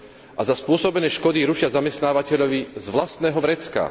A za spôsobené škody ručia zamestnávateľovi z vlastného vrecka.